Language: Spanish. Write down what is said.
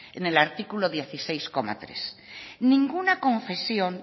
en el artículo dieciséis punto tres ninguna confesión